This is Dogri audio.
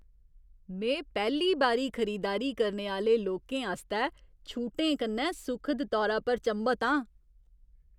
में पैह्ली बारी खरीदारी करने आह्‌ले लोकें आस्तै छूटें कन्नै सुखद तौरा पर चंभत आं।